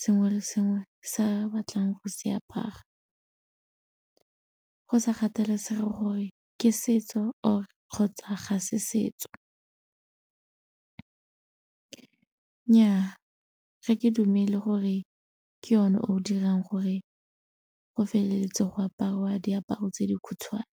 sengwe le sengwe sa batlang go se apara go sa kgathalesege gore ke setso or kgotsa ga se setso. Nnyaa ga ke dumele gore ke one o dirang gore go feleletse go aparwa diaparo tse di khutshwane.